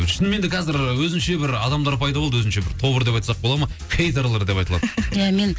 шынымен де қазір өзінше бір адамдар пайда болды өзінше бір тобыр деп айтсақ бола ма хейдерлар деп аталады ия мен